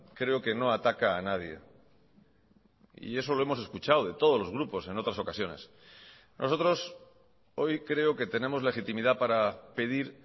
creo que no ataca a nadie y eso lo hemos escuchado de todos los grupos en otras ocasiones nosotros hoy creo que tenemos legitimidad para pedir